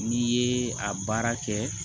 N'i ye a baara kɛ